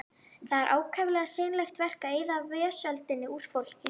Það er ákaflega seinlegt verk að eyða vesöldinni úr fólki.